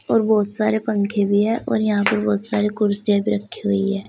और बहुत सारे पंखे भी है और यहां पर बहुत सारे कुर्सियां भी रखी हुई है।